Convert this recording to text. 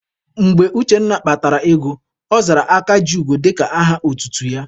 Mgbe Uchenna kpatara ego, ọ zara Aka ji ugo dịka aha otutu ya.